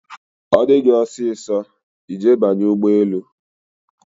ọ dị gị ọsọsọ, I je banye ụgbọelu